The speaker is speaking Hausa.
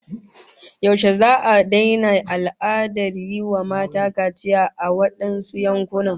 Yaushe za'a daina al'adar yi wa mata kaciya a wadansu yankunan?